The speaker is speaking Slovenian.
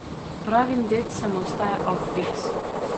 Pravim dedcem ostaja aufbiks.